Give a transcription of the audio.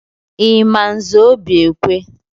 Ị ma Nze Obiekwe?